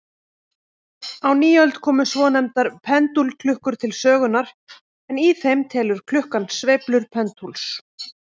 Á nýöld komu svonefndar pendúlklukkur til sögunnar, en í þeim telur klukkan sveiflur pendúls.